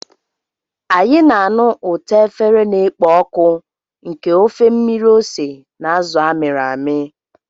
Anyị na-anụ ụtọ efere na-ekpo ọkụ nke ofe mmiri ose na azụ a mịrị amị.